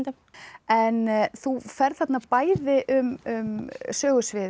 en þú ferð þarna bæði um sögusvið